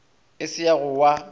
e se ya go wa